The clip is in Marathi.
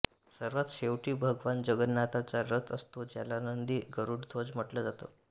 सर्वात शेवटी भगवान जगन्नाथाचा रथ असतो ज्याला नंदी गरुड ध्वज म्हटलं जातं